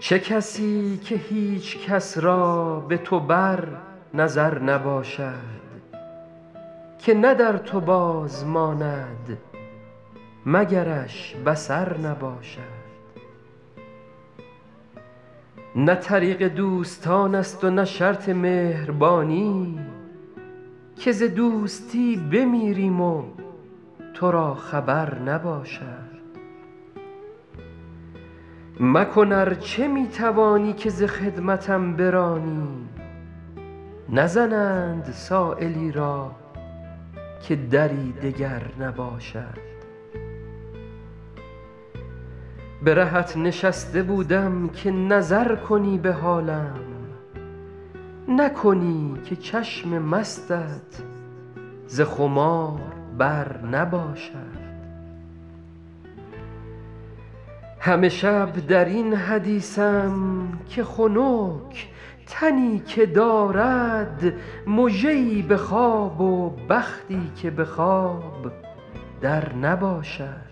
چه کسی که هیچ کس را به تو بر نظر نباشد که نه در تو باز ماند مگرش بصر نباشد نه طریق دوستان است و نه شرط مهربانی که ز دوستی بمیریم و تو را خبر نباشد مکن ار چه می توانی که ز خدمتم برانی نزنند سایلی را که دری دگر نباشد به رهت نشسته بودم که نظر کنی به حالم نکنی که چشم مستت ز خمار بر نباشد همه شب در این حدیثم که خنک تنی که دارد مژه ای به خواب و بختی که به خواب در نباشد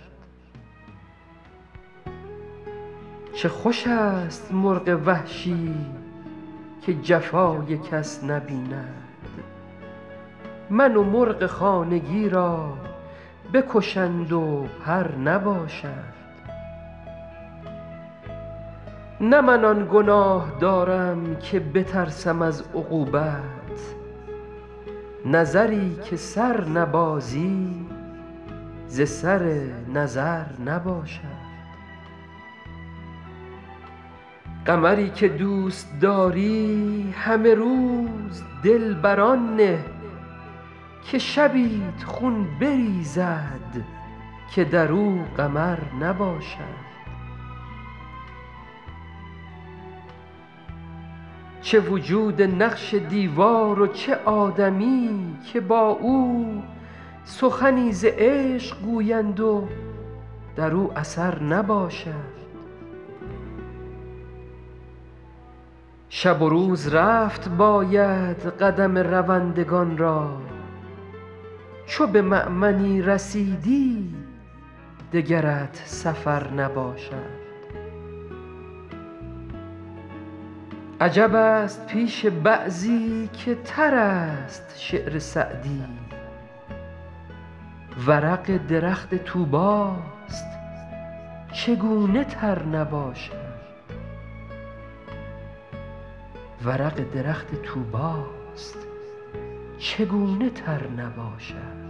چه خوش است مرغ وحشی که جفای کس نبیند من و مرغ خانگی را بکشند و پر نباشد نه من آن گناه دارم که بترسم از عقوبت نظری که سر نبازی ز سر نظر نباشد قمری که دوست داری همه روز دل بر آن نه که شبیت خون بریزد که در او قمر نباشد چه وجود نقش دیوار و چه آدمی که با او سخنی ز عشق گویند و در او اثر نباشد شب و روز رفت باید قدم روندگان را چو به مأمنی رسیدی دگرت سفر نباشد عجب است پیش بعضی که تر است شعر سعدی ورق درخت طوبی ست چگونه تر نباشد